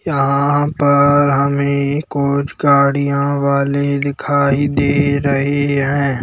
यहाँ पर हमें कुछ गाड़ियाँ वाले दिखाई दे रहे हैं।